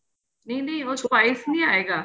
ਨਹੀਂ ਨਹੀਂ ਉਹ spice ਨਹੀਂ ਆਏਗਾ